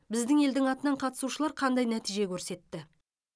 біздің елдің атынан қатысушылар қандай нәтиже көрсетті